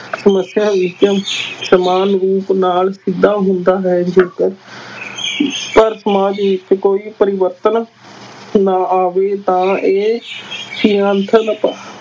ਸਮੱਸਿਆ ਵਿਚ ਸਮਾਨ ਰੂਪ ਨਾਲ ਸਿੱਧਾ ਹੁੰਦਾ ਹੈ ਜੇਕਰ ਪਰ ਸਮਾਜ ਵਿਚ ਕੋਈ ਪਰਿਵਰਤਨ ਨਾ ਆਵੇ ਤਾਂ ਇਹ